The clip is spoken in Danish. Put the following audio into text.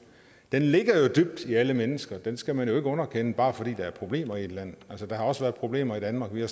ligger jo dybt i alle mennesker den skal man jo ikke underkende bare fordi der er problemer i et land der har også været problemer i danmark vi har